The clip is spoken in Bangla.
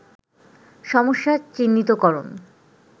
সমস্যা চিহ্নিত করণ